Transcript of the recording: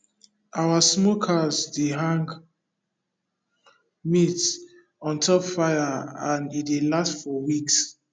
our smokehouse dey hang meat on top fire and e dey last for weeks